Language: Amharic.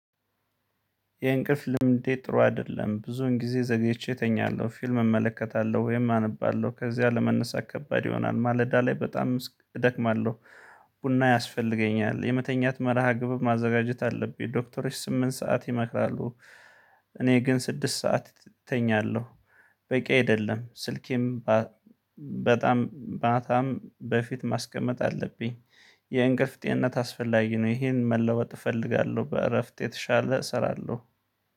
የእንቅልፍ ልምዴ ጥሩ አይደለም ብዙዉን ጊዜ ዘግይቼ እተኛለሁ ፊልም እመለከታለሁ ወይም አነባለሁ ከዚያ ለመነሳት ከባድ ይሆናል ማለዳ ላይ በጣም እደክማለሁ። ቡና ያስፈልገኛል የመተኛት መርሃ ግብር ማዘጋጀት አለብኝ ዶክተሮች ስምንት ሰዓት ይመክራሉ። እኔ ግን ስድስት ሰዓት ተኛለሁ። በቂ አይደለም ስልኬም በጣም ማታም በፊት ማስቀመጥ አለብኝ። የእንቅልፍ ጤንነት አስፈላጊ ነው። ይሄን መለወጥ እፈልጋለሁ በእረፍት የተሻለ እሰራለሁ